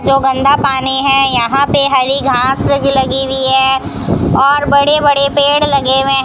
जो गंदा पानी है यहां पे हरी घास लगी लगी हुई है और बड़े बड़े पेड़ लगे हुए --